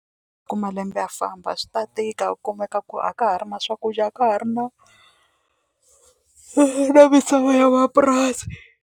Ku malembe ya famba swi ta tika ku kumeka ku a ka ha ri na swakudya a ka ha ri na misava ya mapurasi.